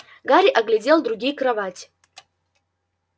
гарри оглядел другие кровати